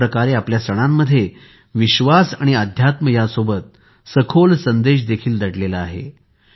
एकप्रकारे आपल्या सणांमध्ये विश्वास आणि अध्यात्मासोबतच सखोल संदेश देखील दडलेला आहे